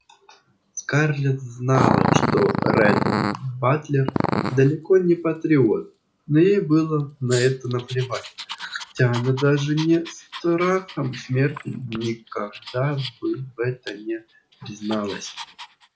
скарлетт знала что ретт батлер далеко не патриот но ей было на это наплевать хотя она даже не страхом смерти никогда бы в этом не призналась